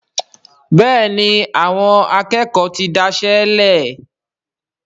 Béèni Àwọn akékòó tí dáiṣélè.